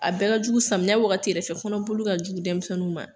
A bɛɛ ka jugu ,samiya wagati yɛrɛ fɛ, kɔnɔboli ka jugu denmisɛnninw ma.